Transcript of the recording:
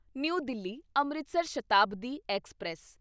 new Delhi Amritsar Shatabdi express